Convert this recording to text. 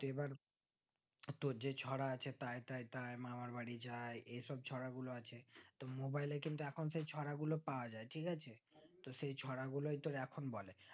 এবার তোর যে ছড়া আছে তাই তাই তাই মামার বাড়ি যাই এই সব ছড়াগুলো আছে তো mobile এ কিন্তু এখন সেই ছড়া গুলো পাওয়ায় ঠিক আছে তো সেই ছড়া গুলোই তো এখন বলে